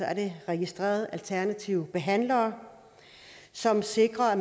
er det registrerede alternative behandlere som sikrer at